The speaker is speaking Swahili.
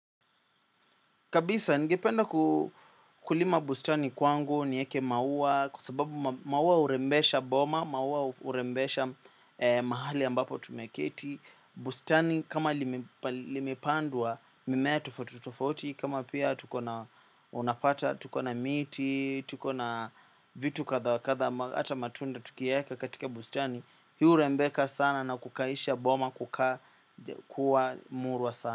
Kabisa, ningependa kulima bustani kwangu, nieke maua, kwa sababu maua hurembesha boma, maua hurembesha mahali ambapo tumeketi. Bustani, kama limepandwa, mimea tofauti tofauti, kama pia tukona unapata, tukona miti, tukona vitu kadha, kadha ata matunda tukiweka katika bustani. Hiu hurembeka sana na kukaisha boma kukaa kuwavmurwa sana.